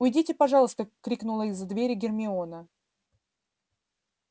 уйдите пожалуйста крикнула из-за двери гермиона